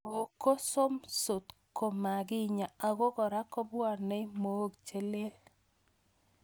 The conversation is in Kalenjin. Mook ko sopsot ko makinyaa ako kora kopwanei mook che lel